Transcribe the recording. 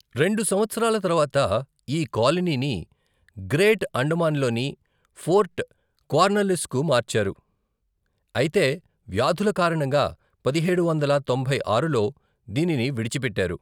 రెండు సంవత్సరాల తర్వాత ఈ కాలనీని గ్రేట్ అండమాన్లోని పోర్ట్ కార్న్వాలిస్కు మార్చారు, అయితే వ్యాధుల కారణంగా పదిహేడు వందల తొంభై ఆరులో దీనిని విడిచిపెట్టారు.